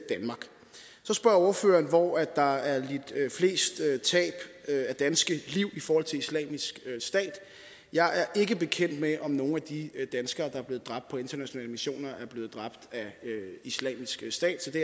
så spørger ordføreren hvor der er lidt flest tab af danske liv i forhold til islamisk stat jeg er ikke bekendt med om nogle af de danskere der er blevet dræbt på internationale missioner er blevet dræbt af islamisk stat så det